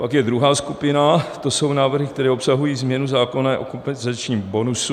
Pak je druhá skupina, to jsou návrhy, které obsahují změnu zákona o kompenzačním bonusu.